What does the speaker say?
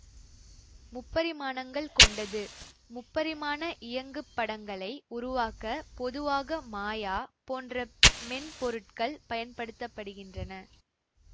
முப்பரிமாணங்கள் கொண்டது முப்பரிமாண இயங்குப்படங்களை உருவாக்க பொதுவாக மாயா போன்ற மென் பொருட்கள் பயன்படுத்த படுகின்றன